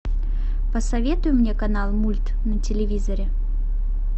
посоветуй мне канал мульт на телевизоре